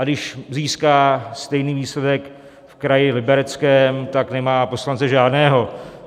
A když získá stejný výsledek v kraji Libereckém, tak nemá poslance žádného.